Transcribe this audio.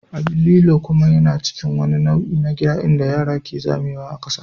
Abin lilo kuma yana cikin wani nau'i na gida inda yara ke zamewa ƙasa.